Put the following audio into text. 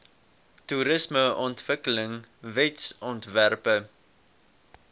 toerismeontwikkelingwetsontwerpe